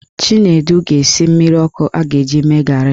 Chinedu ga-esi mmiri ọkụ ọ ga-eji mee garị